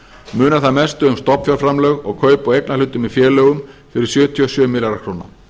munar þar mestu um stofnfjárframlög og kaup á eignarhlutum í félögum fyrir sjötíu og sjö milljarða króna